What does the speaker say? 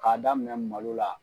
K'a daminɛ malo la